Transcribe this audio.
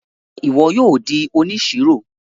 Ṣe ìwò yóò dì òníṣírò?